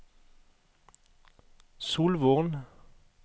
Solvorn